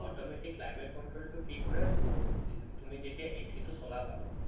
automatic climate control টো কি কৰে so যি তুমি যেতিয়া AC টো চলাবা ন